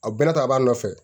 A bɛɛ ta b'a nɔfɛ